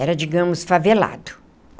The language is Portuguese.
Era, digamos, favelado.